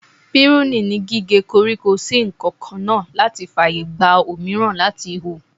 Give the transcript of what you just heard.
Piruni ni gíge koríko sí nǹkankan náà láti fàyègba òmíràn láti hù.